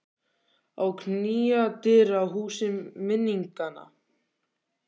Að knýja dyra á húsi minninganna